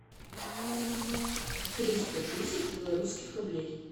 триста тысяч белорусских рублей